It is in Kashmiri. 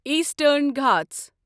ایٖسٹرن گھاٹھ